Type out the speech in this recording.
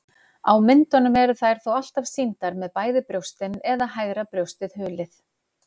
Á myndum eru þær þó alltaf sýndar með bæði brjóstin eða hægra brjóstið hulið.